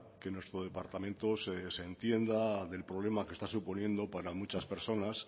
que nuestro departamento se desentienda del problema que está suponiendo para muchas personas